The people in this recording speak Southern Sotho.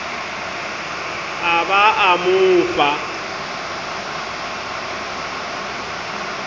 a ba a mo fa